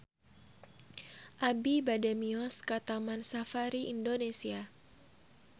Abi bade mios ka Taman Safari Indonesia